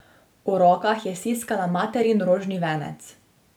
V rokah je stiskala materin rožni venec.